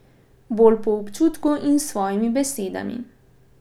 Bolj po občutku in s svojimi besedami.